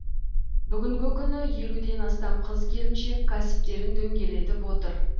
бүгінгі күні елуден астам қыз келіншек кәсіптерін дөңгелетіп отыр